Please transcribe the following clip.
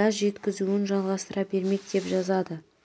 газ жеткізуін жалғастыра бермек деп жазады